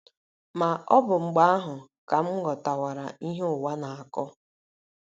Ma, ọ bụ mgbe ahụ ka m ghọtawara ihe ụwa na - akọ.